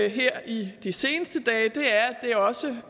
her i de seneste dage er at det også